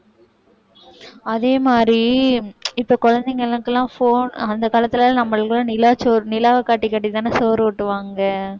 அதே மாதிரி இப்ப குழந்தைகளுக்கெல்லாம் phone அந்த காலத்துல நம்மளுக்கெல்லாம் நிலாச்சோறு நிலாவை காட்டி காட்டித்தானே சோறு ஊட்டுவாங்க